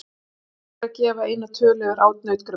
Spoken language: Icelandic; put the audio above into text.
Erfitt er að gefa eina tölu yfir át nautgripa.